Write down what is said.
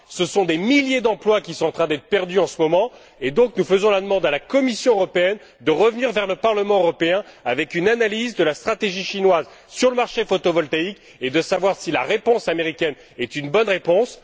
Ce sont des milliers d'emplois qui sont en train d'être perdus en ce moment, c'est pourquoi nous demandons à la Commission européenne de revenir vers le Parlement européen avec une analyse de la stratégie chinoise sur le marché photovoltaïque et de dire si la réponse américaine est une bonne réponse.